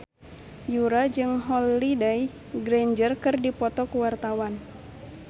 Yura jeung Holliday Grainger keur dipoto ku wartawan